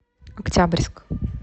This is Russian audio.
октябрьск